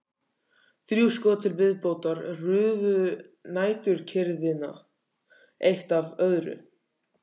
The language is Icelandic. Þrjú skot til viðbótar rufu næturkyrrðina eitt af öðru.